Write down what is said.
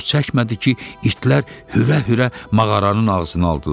Çox çəkmədi ki, itlər hürə-hürə mağaranın ağzına aldılar.